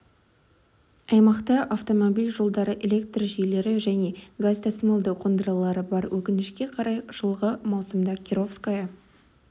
аймақта автомобиль жолдары электр жүйелері және газ тасымалдау қондырғылары бар өкінішке қарай жылғы маусымда кировское